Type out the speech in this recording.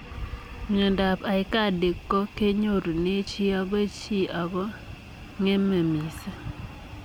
Mindoop aikadi ko kenyorunee chii agoi chii ako ngemee misiing